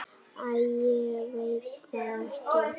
Æ, ég veit það ekki.